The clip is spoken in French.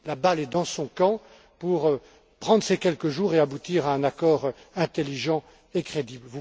La balle est dans son camp pour prendre ces quelques jours et aboutir à un accord intelligent et crédible.